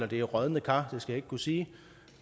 det er rådne kar skal jeg ikke kunne sige